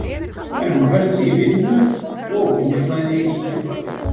Hann er búinn að festa sig í vinnu og húsnæði í Keflavík.